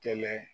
Kɛlɛ